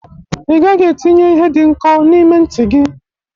Ị gaghị etinye ihe dị nkọ n'ime ntị gị!